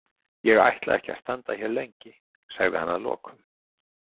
Ég ætla ekki að standa hér lengi, sagði hann að lokum.